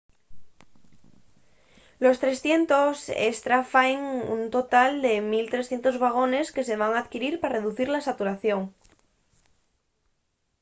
los 300 estra faen un total de 1 300 vagones que se van adquirir pa reducir la saturación